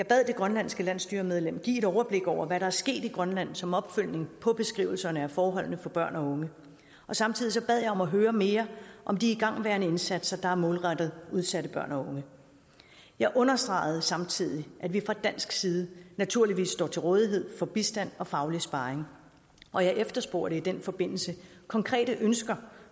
bad det grønlandske landsstyremedlem give et overblik over hvad der er sket i grønland som opfølgning på beskrivelserne af forholdene for børn og unge og samtidig bad jeg om at høre mere om de igangværende indsatsen der er målrettet udsatte børn og unge jeg understregede samtidig at vi fra dansk side naturligvis står til rådighed med bistand og faglig sparring og jeg efterspurgte i den forbindelse konkrete ønsker